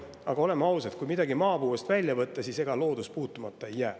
Aga oleme ausad, kui midagi maapõuest välja võtta, siis ega loodus puutumata ei jää.